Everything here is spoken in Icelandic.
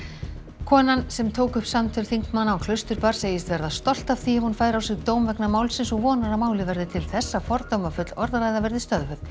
konan sem tók upp samtöl þingmanna á Klausturbar segist verða stolt af því ef hún fær á sig dóm vegna málsins og vonar að málið verði til þess að fordómafull orðræða verði stöðvuð